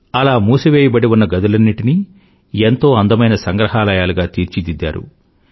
అలా మూసివేయబడి ఉన్న గదులన్నింటినీ ఎంతో అందమైన సంగ్రహాలయాలుగా తీర్చిదిద్దారు